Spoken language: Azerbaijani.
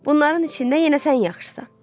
Bunların içində yenə sən yaxşısan.